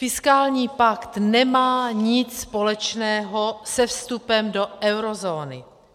Fiskální pakt nemá nic společného se vstupem do eurozóny.